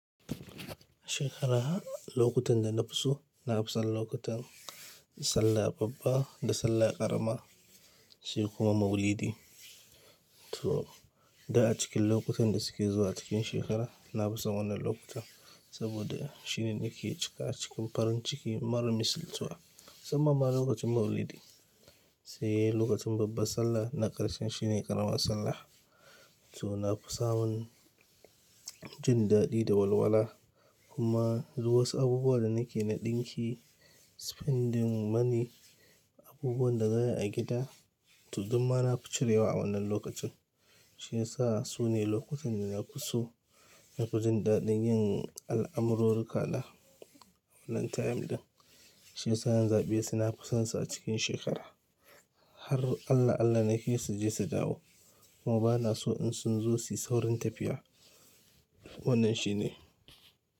Shekarah lokutan da na fi so na fi son lokutan sallah babba da sallah ƙarama sai kuma maulidi. To da a cikin lokutan da suke zuwa cikin shekara na fi so wannan lokuta saboda shine nake cika cikin farin ciki marar misaltuwa. Musan ma ma lokacin maulidi sai lokacin babbar sallah na ƙarshen shine ƙaramar sallah. To na fi samun jin daɗi da walwala kuma duk wa su abubuwan da nake na ɗinki spending money abubuwan da za'ayi a gida. To dukkan ma na fi cire wa a wannan lokacin. Shi yasa su ne lokutan da na fi so na fi jin daɗin yin al'amurru kala wannan time din. Shi yasa yan zaɓe suna fusansa a cikin shekara har Allah Allah ne ke su je su dawo. Kuma ba na so in sun zo su yi saurin tafiya wannan shi ne.